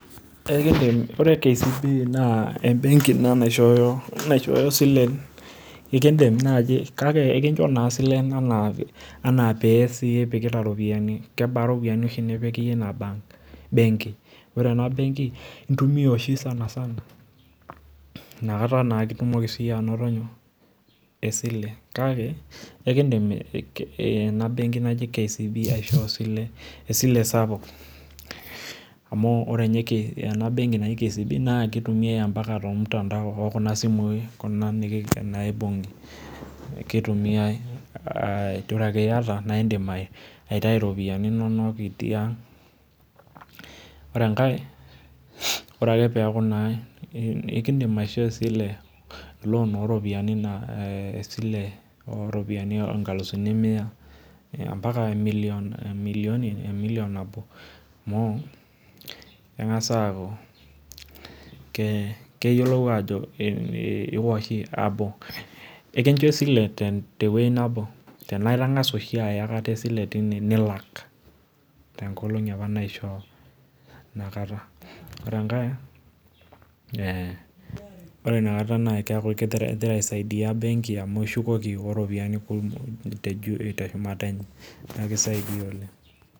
ore KCB naa ebenki ina naishoyo isilen enaa pee ipikita siyie iropiyiani kebaa iropiyiani nipikita ina benki ore ena benki intumiya oshi oleng' amu ore ena benki naa kitumiya ampaka kuna simui, naa idim aitayu iropiyiani inonok itii ang' , ore enkae naa ekidim aishoo esile oo inkalusuni mia ampaka emillioni, amu keyiolou ajo iwa oshi esile nilak too inkolongi apa naishoo , ore enkae naa igira aisai dia amu ishukoki etii inkulie ropiyiani juu.